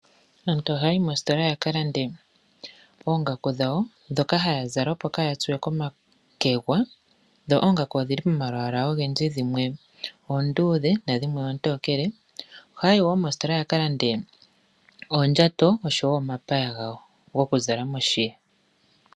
Aantu ohaya yi moostola ya ka lande oongaku dhawo ndhoka haya zala opo ka ya tsuwe komakegwa, dho oongaku odhili pomalwaala ogendji dhimwe oonduudhe nadhimwe oontokele. Ohaya yi woo moostola ya ka lande oondjato oshowo omapaya gawo gokuzala moshiya.